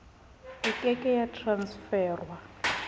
e ke ke ya transferwa